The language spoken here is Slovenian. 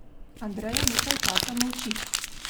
Andreja nekaj časa molči.